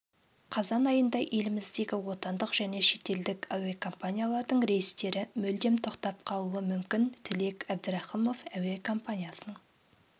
қазан айында еліміздегі отандық және шетелдік әуекомпаниялардың рейстері мүлдем тоқтап қалуы мүмкін тілек әбдірахымов әуе компаниясының